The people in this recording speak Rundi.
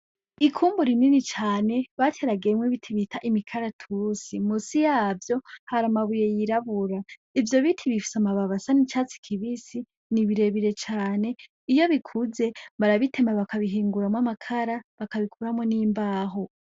Ikungu rinini cane bateragiyemwo ibiti bita imikaratusi , musi yavyo hari amabuye yirabura. Ivyo biti bifise amababi asa n‘icatsi kibisi, ni birebire cane iyo bikuze barabitema bakabihinguramwo amakara, bakanabitemamwo imbaho .